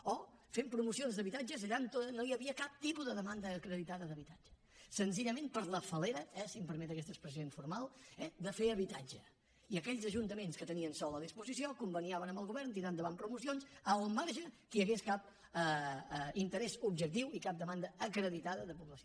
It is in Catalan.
o fent promocions d’habitatges allà on no hi havia cap tipus de demanda acreditada d’habitatge senzillament per la falem permet aquesta expressió informal de fer habitatge i aquells ajuntaments que tenien sòl a disposició conveniaven amb el govern tirar endavant promocions al marge que hi hagués cap interès objectiu i cap demanda acreditada de població